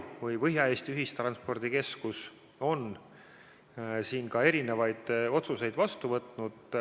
Põhja-Eesti Ühistranspordikeskus on siin erinevaid otsuseid vastu võtnud.